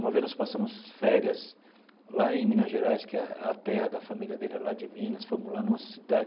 Uma vez nós passamos férias lá em Minas Gerais, que a a terra da família dele é lá de Minas, fomos lá numa cidade,